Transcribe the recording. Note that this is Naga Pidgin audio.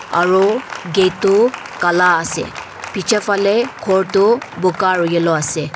aru gate tu kala ase piche fele gor tu bokka aur yellow ase.